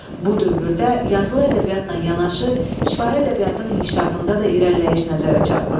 Bu dövrdə yazılı ədəbiyyatla yanaşı, şifahi ədəbiyyatın inkişafında da irəliləyiş nəzərə çarpırdı.